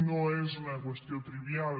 no és una qüestió trivial